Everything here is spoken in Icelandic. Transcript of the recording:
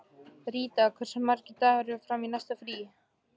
Ríta, hversu margir dagar fram að næsta fríi?